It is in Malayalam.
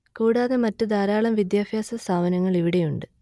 കൂടാതെ മറ്റ് ധാരാളം വിദ്യാഭ്യാസ സ്ഥാപനങ്ങൾ ഇവിടെയുണ്ട്